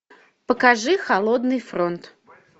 покажи холодный фронт